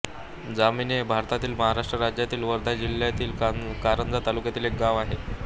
जामणी हे भारतातील महाराष्ट्र राज्यातील वर्धा जिल्ह्यातील कारंजा तालुक्यातील एक गाव आहे